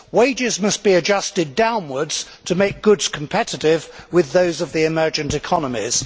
Wages must be adjusted downwards to make goods competitive with those of the emergent economies.